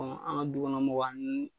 Ɔ an ka dukɔnɔmɔgɔw ni